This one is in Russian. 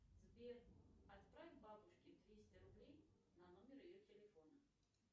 сбер отправь бабушке двести рублей на номер ее телефона